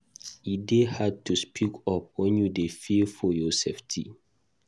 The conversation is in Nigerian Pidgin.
E dey hard to speak up when you dey fear for your safety.